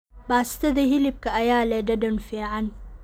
Baastada hilibka ayaa leh dhadhan fiican.